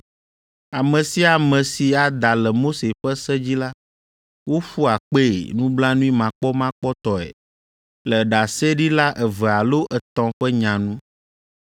Ame sia ame si ada le Mose ƒe se dzi la, woƒua kpee nublanuimakpɔmakpɔtɔe le ɖaseɖila eve alo etɔ̃ ƒe nya nu.